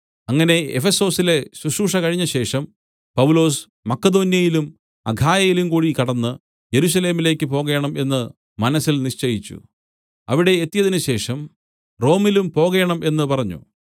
അങ്ങനെ എഫെസൊസിലെ ശുശ്രൂഷ കഴിഞ്ഞതിനുശേഷം പൗലൊസ് മക്കെദോന്യയിലും അഖായയിലും കൂടി കടന്ന് യെരൂശലേമിലേക്ക് പോകേണം എന്ന് മനസ്സിൽ നിശ്ചയിച്ചു അവിടെ എത്തിയതിനുശേഷം റോമിലും പോകേണം എന്നു പറഞ്ഞു